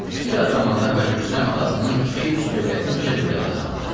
Bir az zamanda Hacı Rüstəm atasının iki-üç dövlətincə dövlət qazandı.